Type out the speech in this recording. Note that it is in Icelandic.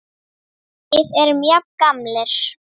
Við erum jafn gamlir.